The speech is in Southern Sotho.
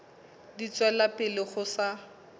di tswela pele ho sa